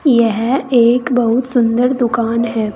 यह एक बहुत सुंदर दुकान है।